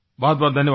बहुतबहुत धन्यवाद